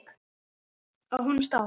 Á honum stóð